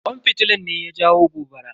Kwan fitilan ne ya jawo gobara.